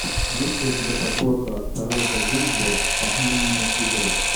есть ли у тебя подборка шарлотта генсбур похмельные игры